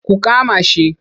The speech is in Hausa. Ku kama shi!